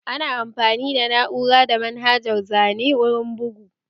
Ana amfani da na'ura da manhajar zane wurin bugu